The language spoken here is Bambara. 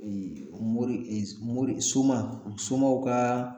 Ee mori e mori soma, somaw ka